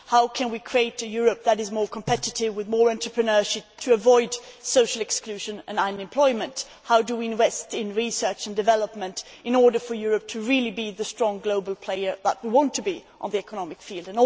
How can we create a Europe that is more competitive, with more entrepreneurship, and avoid social exclusion and unemployment? How do we invest in research and development in order for Europe to be the strong global player that we want it to be in the economic field?